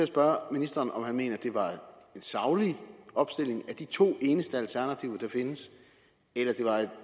spørge ministeren om han mener at det var en saglig opstilling af de to eneste alternativer der findes eller det var et